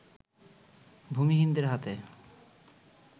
ভূমিহীনদের হাতে